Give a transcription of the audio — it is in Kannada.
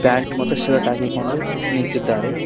ಪ್ಯಾಂಟ್ ಮತ್ತು ಶರ್ಟ್ ಹಾಕಿಕೊಂಡು ನಿಂತಿದ್ದಾರೆ.